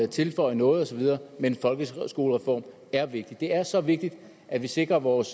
tilføje noget osv men folkeskolereformen er vigtig det er så vigtigt at vi sikrer vores